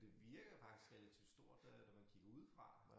Ja det virker faktisk relativt stort øh når man kigger udefra